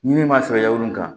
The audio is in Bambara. Ɲimin ma sɔrɔ yawlu kan